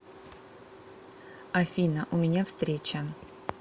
афина у меня встреча